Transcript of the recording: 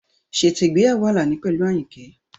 Ṣètò ìgbéyàwó Alani pẹ̀lú Ayinke.